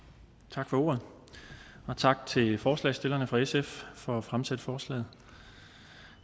tak for ordet og tak til forslagsstillerne fra sf for at fremsætte forslaget